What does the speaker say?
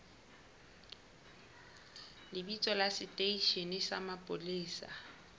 lebitso la seteishene sa mapolesa